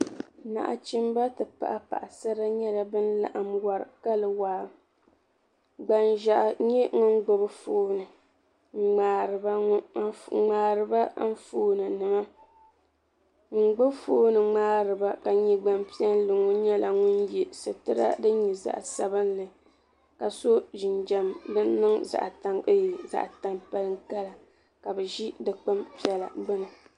Naɣachimba ti pahi paɣasara nyɛla bin laɣim wari kali waa gbanʒiɛhi n nyɛ ŋun gbubi fooni n ŋmaariba anfooni nima ŋun gbubi fooni ŋmaariba ka nyɛ gbanpiɛlli ŋɔ nyɛla ŋun yɛ sitira din nyɛ zaɣa sabinli ka so jinjam din nyɛ zaɣa tampilim kala ka bi ʒi dikpuni piɛlli gbuni.